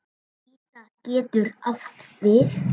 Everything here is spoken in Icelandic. Ida getur átt við